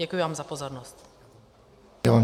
Děkuji vám za pozornost.